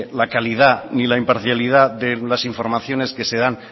la calidad ni la imparcialidad de las informaciones que se dan